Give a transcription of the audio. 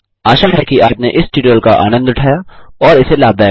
आशा है कि आपने इस ट्यूटोरियल का आनन्द उठाया और इसे लाभदायक पाया